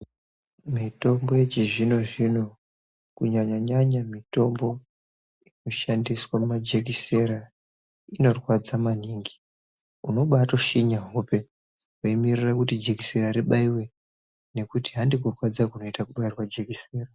Mitombo yechizvino zvino kunyanya nyanya mitombo inoshandiswa mumajekiseni inorwadza maningi inobaitoshinya hope weimirira jekisena ribaiwe nekuti handi kurwadza kwejekiseni.